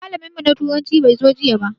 Malamin mu na turanci bai zo jiya ba.